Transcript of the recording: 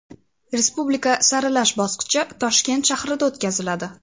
Respublika saralash bosqichi Toshkent shahrida o‘tkaziladi.